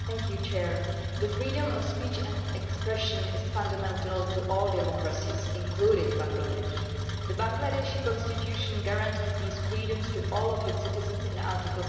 Madam President, freedom of speech and expression is fundamental to all democracies, including Bangladesh. The Bangladeshi Constitution guarantees these freedoms to all of its citizens in Article